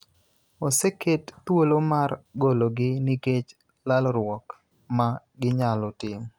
oseket thuolo mar gologi nikech lalruok ma ginyalo timo